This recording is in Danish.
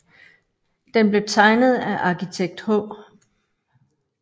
Den blev tegnet af arkitekt H